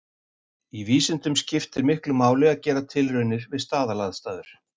Í vísindum skiptir miklu máli að gera tilraunir við staðalaðstæður.